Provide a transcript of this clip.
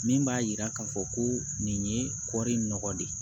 Min b'a yira k'a fɔ ko nin ye kɔri nɔgɔ de ye